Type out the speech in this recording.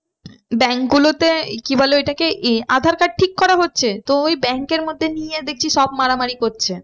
Bank গুলোতে কি বলার ওইটাকে aadhaar card ঠিক করা হচ্ছে। তো ওই bank এর মধ্যে নিয়ে দেখছি সব মারামারি করছে।